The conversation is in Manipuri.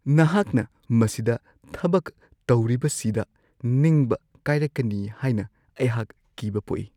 ꯅꯍꯥꯛꯅ ꯃꯁꯤꯗ ꯊꯕꯛ ꯇꯧꯔꯤꯕꯁꯤꯗ ꯅꯤꯡꯕ ꯀꯥꯏꯔꯛꯀꯅꯤ ꯍꯥꯏꯅ ꯑꯩꯍꯥꯛ ꯀꯤꯕ ꯄꯣꯛꯏ ꯫